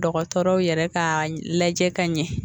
Dɔgɔtɔrɔw yɛrɛ ka lajɛ ka ɲɛ